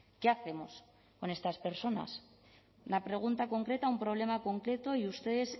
qué hacemos con estas personas la pregunta concreta a un problema concreto y ustedes